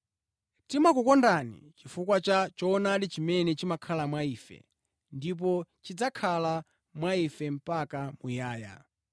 Timakukondani chifukwa cha choonadi chimene chimakhala mwa ife ndipo chidzakhala mwa ife mpaka muyaya.